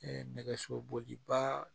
nɛgɛso boliba